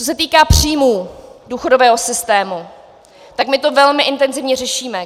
Co se týká příjmů důchodového systému, tak my to velmi intenzivně řešíme.